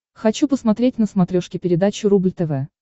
хочу посмотреть на смотрешке передачу рубль тв